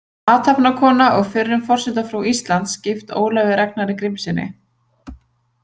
Athafnakona og fyrrum forsetafrú Íslands, gift Ólafi Ragnari Grímssyni.